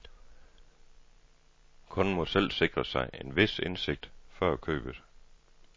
Kunden må selv sikre sig en vis indsigt før købet.